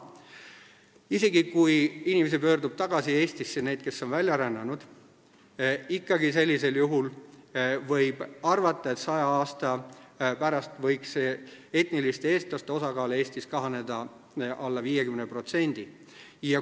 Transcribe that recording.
Isegi sellisel juhul, kui Eestisse pöördub tagasi neid inimesi, kes on välja rännanud, võib arvata, et saja aasta pärast kahaneks etniliste eestlaste osakaal Eestis alla 50%.